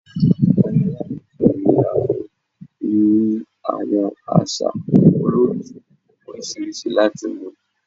Awọn alakoso ni a fun ni awọn aṣa olootu oriṣiriṣi lati mu